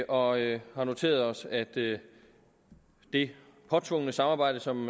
og har noteret os at det det påtvungne samarbejde som